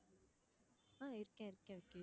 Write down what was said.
ஆஹ் இருக்கேன் இருக்கேன்